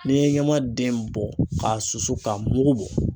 N'i ye ɲama den bɔ ka susu ka mugu bɔ